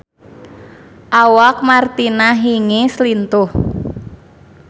Awak Martina Hingis lintuh